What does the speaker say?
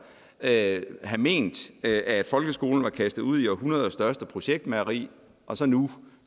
have ment at folkeskolen var kastet ud i århundredets største projektmageri og så nu